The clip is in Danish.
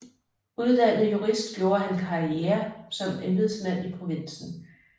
Uddannet jurist gjorde han karriere som embedsmand i provinsen